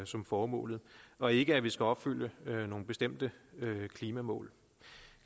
som formålet og ikke at vi skal opfylde nogle bestemte klimamål